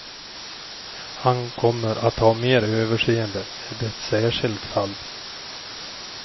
Han kommer att ha mer överseende med ett särskilt fall.